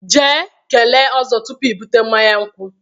Jee kelee Ozo tupu i bute mmanya nkwu.